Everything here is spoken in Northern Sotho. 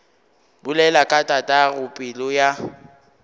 bolela ka tatago pelo ya